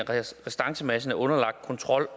af restancemassen er underlagt kontrol